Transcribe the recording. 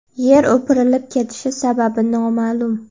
Yer o‘pirilib ketishi sababi noma’lum.